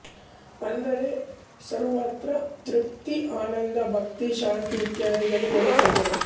ಅಂದರೆ ಸರ್ವತ್ರ ತೃಪ್ತಿ ಆನಂದ ಭಕ್ತಿ ಶಾಂತಿ ಇತ್ಯಾದಿಗಳು ನೆಲೆಸಿದ್ದವು